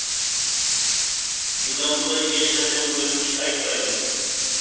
бұдан былай ешқашан өтініш айтпаймын